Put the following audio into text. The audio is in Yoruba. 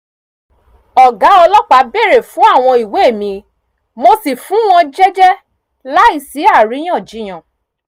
ọ̀gá ọlọ́pàá bèrè fún àwọn ìwé mi mo sì fún wọn jẹ́jẹ́ láì sí àríyànjiyàn